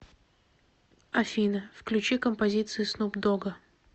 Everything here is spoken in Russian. афина включи композиции снуп догга